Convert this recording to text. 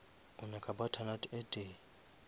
o nyaka butternut e tee